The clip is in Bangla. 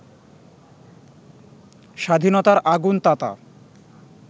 স্বাধীনতার আগুন-তাতা